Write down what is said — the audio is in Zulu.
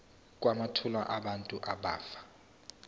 kwamathuna abantu abafa